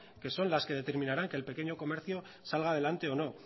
que son las que determinaran que el pequeño comercio salga adelante o no